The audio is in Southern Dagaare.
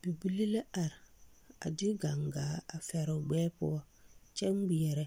Bibile la are a de gaŋgaa a fɛre o gbɛɛ poɔ kyɛ ŋmeɛrɛ